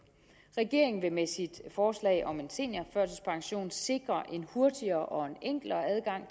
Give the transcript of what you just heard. regeringen vil med sit forslag om en seniorførtidspension sikre en hurtigere og en enklere adgang